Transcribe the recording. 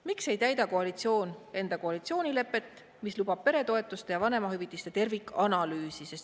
Miks ei täida koalitsioon enda koalitsioonilepet, mis lubab peretoetuste ja vanemahüvitiste tervikanalüüsi?